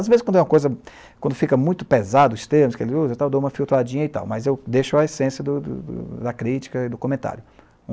Às vezes quando é uma coisa, quando fica muito pesado os termos que ele usa e tal, eu dou uma filtradinha e tal, mas eu deixo a essência do do da crítica e do comentário.